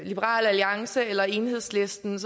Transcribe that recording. liberal alliance eller enhedslisten